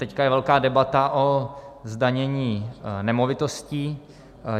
Teď je velká debata o zdanění nemovitostí.